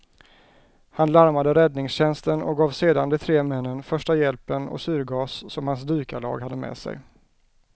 Han larmade räddningstjänsten och gav sedan de tre männen första hjälpen och syrgas som hans dykarlag hade med sig.